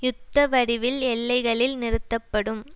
யுத்த வடிவில் எல்லைகளில் நிறுத்தப்படும்